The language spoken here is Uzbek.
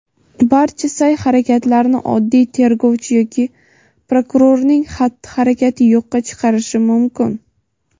barcha sa’y-harakatlarni oddiy tergovchi yoki prokurorning xatti-harakati yo‘qqa chiqarishi mumkin.